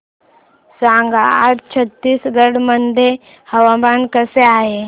सांगा आज छत्तीसगड मध्ये हवामान कसे आहे